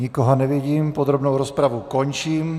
Nikoho nevidím, podrobnou rozpravu končím.